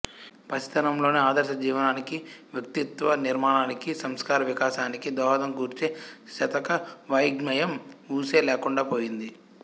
పసితనంలోనే ఆదర్శ జీవనానికి వ్యక్తిత్వ నిర్మాణానికి సంస్కార వికాసానికి దోహదం కూర్చే శతక వాఞ్మయం వూసే లేకుండాపోయింది